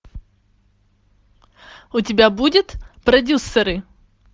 у тебя будет продюсеры